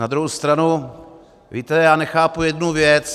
Na druhou stranu, víte, já nechápu jednu věc.